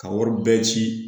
Ka wari bɛɛ ci